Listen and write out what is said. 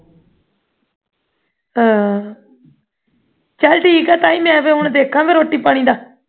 ਹਾਂ ਚੱਲ ਠੀਕ ਹੈ ਤਾਈ ਹੁਣ ਮੈਂ ਫੇਰ ਹੁਣ ਵੇਖਾਂ ਰੋਟੀ ਪਾਣੀ ਦਾ